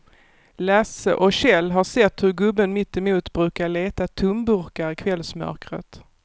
Lasse och Kjell har sett hur gubben mittemot brukar leta tomburkar i kvällsmörkret.